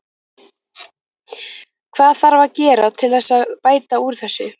Hvað þarf að gera til þess að bæta úr þessu?